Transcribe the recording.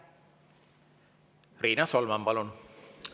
Riina Solman, palun!